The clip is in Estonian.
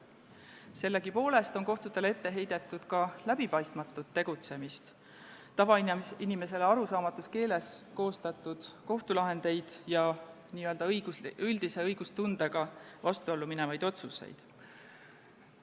Sellegipoolest on kohtule ette heidetud ka läbipaistmatut tegutsemist, tavainimesele arusaamatus keeles koostatud kohtulahendeid ja n-ö üldise õigustundega vastuollu minevaid otsuseid.